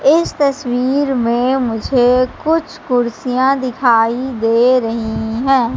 इस तस्वीर में मुझे कुछ कुर्सियां दिखाई दे रही हैं।